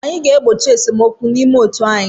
Anyị ga-egbochi esemokwu n'ime otu anyị.